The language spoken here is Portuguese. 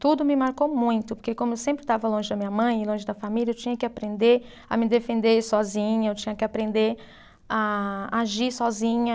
Tudo me marcou muito, porque como eu sempre estava longe da minha mãe e longe da família, eu tinha que aprender a me defender sozinha, eu tinha que aprender a agir sozinha.